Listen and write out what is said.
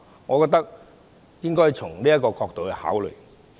我覺得應該從這個角度來考慮。